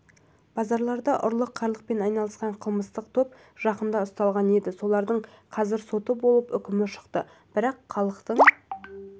базарларда ұрлық-қарлықпен айналысқан қылмыстық топ жақында ұсталған еді солардың қазір соты болып үкімі шықты бірақ халықтың